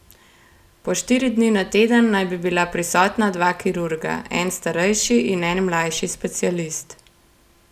Po štiri dni na teden naj bi bila prisotna dva kirurga, en starejši in en mlajši specialist.